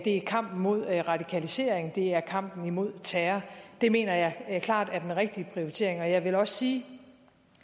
er kampen imod radikalisering og det er kampen imod terror det mener jeg klart er den rigtige prioritering jeg vil også sige